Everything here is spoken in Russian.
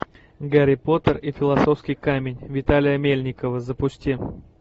гарри поттер и философский камень виталия мельникова запусти